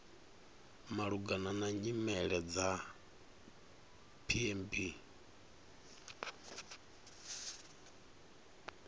malugana na nyimele dza pmb